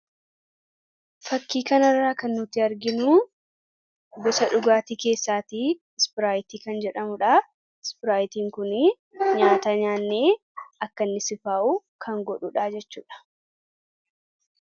fakkii kan irraa kan nutti arginu bisha dhugaatii keessaatii ispiraayitii kan jedhamuudha ispiraayitiin kunii nyaata nyaannee akkainni sifaa'u kan godhuudhaa jechuudha